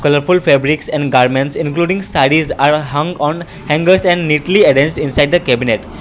there are full fabrics and garments including sarees are hang on hangers and neatly arrange inside the cabinet.